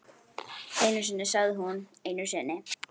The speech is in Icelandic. Einu sinni sagði hún, einu sinni.